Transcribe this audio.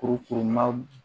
Kurukurunma